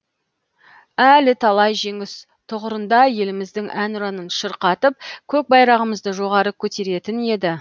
әлі талай жеңіс тұғырында еліміздің әнұранын шырқатып көк байрағымызды жоғары көтеретін еді